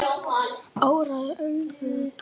Óræð augun brún.